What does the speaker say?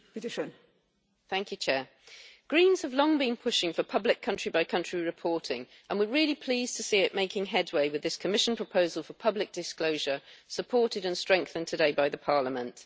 Madam President, the Greens have long been pushing for public country by country reporting and we are really pleased to see it making headway with this Commission proposal for public disclosure, supported and strengthened today by Parliament.